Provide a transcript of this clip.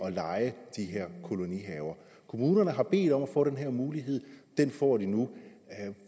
at leje de her kolonihaver kommunerne har bedt om at få den her mulighed den får de nu